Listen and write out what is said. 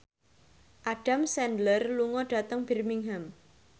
Adam Sandler lunga dhateng Birmingham